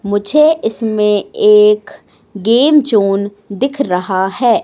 मुझे इसमें एक गेम जोन दिख रहा है।